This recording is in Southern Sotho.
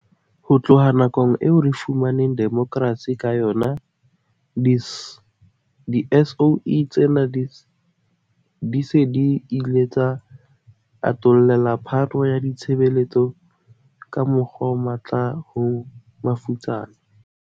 Ho tloha nakong eo re fumaneng demokrasi ka yona, di-SOE tsena di se di ile tsa atollela phano ya ditshebeletso ka mokgwa o matla ho mafutsana.